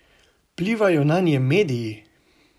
Vplivajo nanje mediji?